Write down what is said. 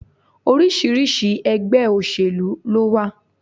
Oríṣiríṣi egbé òsèlú ló wa